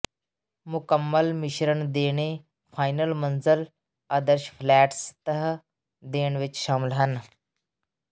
ਮੁਕੰਮਲ ਮਿਸ਼ਰਣ ਦੇਣੇ ਫਾਈਨਲ ਮੰਜ਼ਿਲ ਆਦਰਸ਼ ਫਲੈਟ ਸਤਹ ਦੇਣ ਵਿਚ ਸ਼ਾਮਲ ਹਨ